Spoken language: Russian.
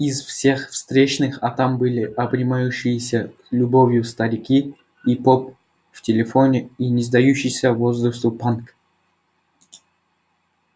из всех встречных а там были обнимающиеся любовью старики и поп в телефоне и не сдающийся возрасту панк